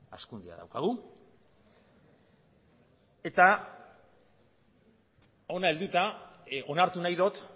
hazkundea daukagu eta hona helduta onartu nahi dut